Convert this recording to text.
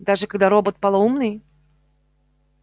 даже когда робот полоумный